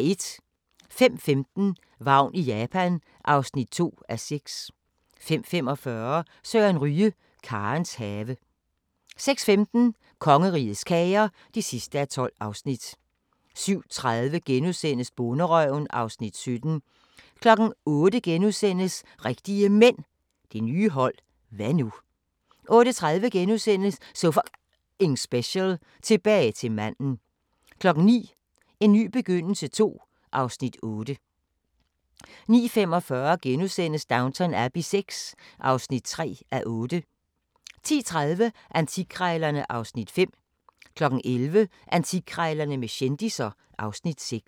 05:15: Vagn i Japan (2:6) 05:45: Søren Ryge – Karens have 06:15: Kongerigets kager (12:12) 07:30: Bonderøven (Afs. 17)* 08:00: Rigtige Mænd – det nye hold – hva' nu? * 08:30: So F***ing Special: Tilbage til manden * 09:00: En ny begyndelse II (Afs. 8) 09:45: Downton Abbey VI (3:8)* 10:30: Antikkrejlerne (Afs. 5) 11:00: Antikkrejlerne med kendisser (Afs. 6)